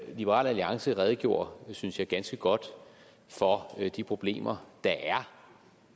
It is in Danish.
liberal alliance redegjorde synes jeg ganske godt for de problemer der er